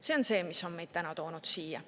See on see, mis on meid täna toonud siia.